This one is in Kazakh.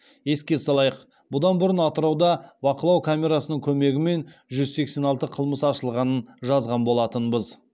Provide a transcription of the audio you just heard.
еске салайық бұдан бұрын атырауда бақылау камерасының көмегімен жүз сексен алты қылмыс ашылғанын жазған болатынбыз